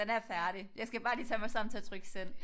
Den er færdig jeg skal bare lige tage mig sammen til at trykke send